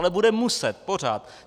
Ale bude muset, pořád.